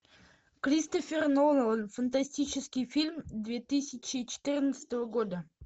кристофер нолан фантастический фильм две тысячи четырнадцатого года